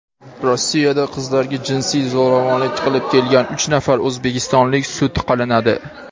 Rossiyada qizlarga jinsiy zo‘ravonlik qilib kelgan uch nafar o‘zbekistonlik sud qilinadi.